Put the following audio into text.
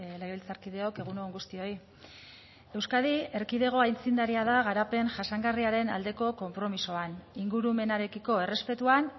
legebiltzarkideok egun on guztioi euskadi erkidego aitzindaria da garapen jasangarriaren aldeko konpromisoan ingurumenarekiko errespetuan